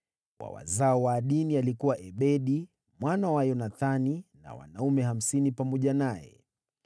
wa wazao wa Adini, alikuwa Ebedi mwana wa Yonathani na wanaume 50 pamoja naye;